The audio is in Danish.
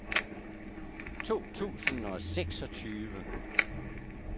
to tusind og seksogtyve